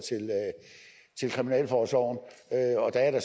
til kriminalforsorgen